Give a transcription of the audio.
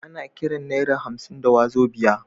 Ana Kiran naira hamsin da wazobia